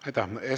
Aitäh!